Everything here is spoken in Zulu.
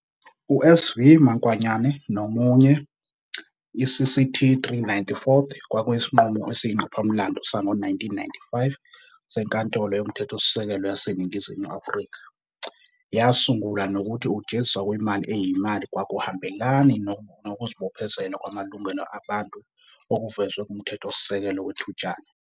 U-S v Makwanyane noMunye, i-CCT 3, 94, kwakuyisinqumo esiyingqopha-mlando sango-1995 seNkantolo Yomthethosisekelo yaseNingizimu Afrika. Yasungula nokuthi ukujeziswa kwemali eyimali kwakuhambelani nokuzibophezela kwamalungelo abantu okuvezwe kuMthethosisekelo Wethutyana.